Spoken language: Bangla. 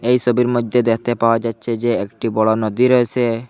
এই ছবির মধ্যে দেখতে পাওয়া যাচ্ছে যে একটি বড় নদী রয়েসে।